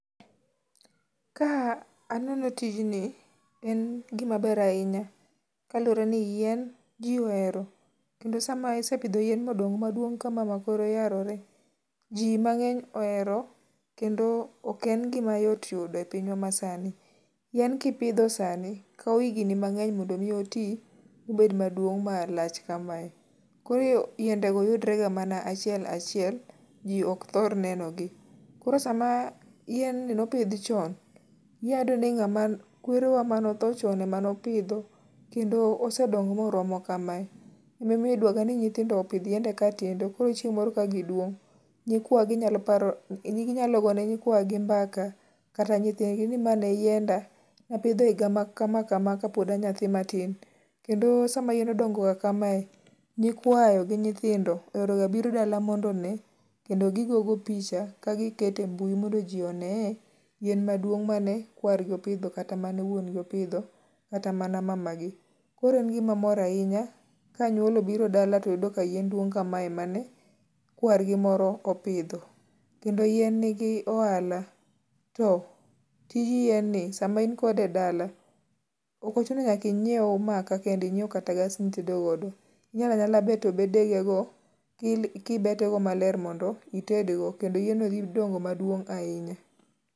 Ka aneno tijni en gima ber ahinya kaluwore ni yien ji ohero kendo sama isepidho yien modongo maduong kama ma kore oyarore, ji mangeny ohero kendo ok en gima yot yudo e pinywa masani, yien kipidho sani to okawo higni mangeny mondo oti mobed maduong malach kamae. Koro yiende go yudre ga mana achiel achiel, ji ok thor neno gi ,koro sama yien ni nopidh chon ,inyalo yudo ni kwerewa mane otho chon emane opidhe kendo sedongo moromo kamae, ema omiyo idwaro ga ni nyithindo opidh yiende katindo ,koro chieng moro ka giduong ginyalo gone nyikwagi mbaka kata nyithind gi ni ma ne yienda napidho e higa ma kama kama kapod a nyathi matin, kendo sama yien odongo ga kamae, nyikwayo gi nyithindo oero ga biro dala mondo mi kendo gi gogo picha ka giketo e mbui mondo ji oneye yien maduong mane kwar gi opidho kata mane wuon gi opidho kata mana mama gi ,koro en gima mor ahinya kanyuola obiro e dala to yudo ka yien duong kamae mane kwar gimoro opidho kendo yien ni gi ohala to tij yien ni sama in kode e dala ok ochuno nyak ainyiew maka kende inyiew kata gas mitedo godo ,inyalala beto bede ge go kibeto gi maler mondo itedgo, kendo yien no dhi dongo maduong ahinya